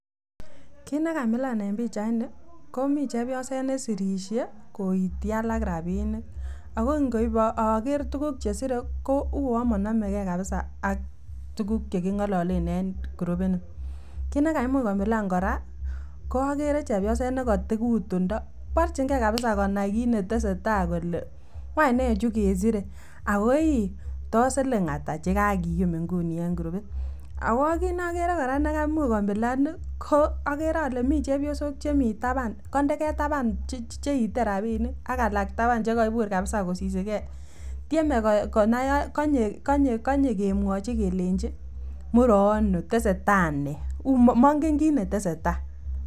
kit nekamilan en pichaini komii chepyoset nesirishe koiti alak rabinik ako ikobo oker tukuk chesire ko uwon monome gee kabisa ak tukuk chekingololen en korubit nii, kit ne kaimuch komilan koraa oker chepyoset nekoti kotundo porchin gee kabisa konai kit netesetai kole wanch nee chukesire ako iih wanch tos siling atak chekakiyum inguni en kurubit ako kit neogere koraa nekaimuch komilan okere ole mii chebiosok chemii taban koinde gee taban cheite rabinik ak alak taban chekoibur kabisa kosisigee tyeme konai konyee, konyee konyee kemwochi kelenji mure ono tesetai nee monge kit netesetai.